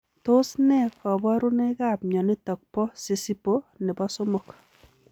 Tos nee kabarunoik ap mionitok po sisipo nepo somok ?